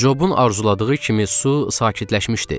Cobun arzuladığı kimi su sakitləşmişdi.